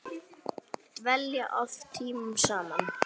Dvelja oft tímunum saman í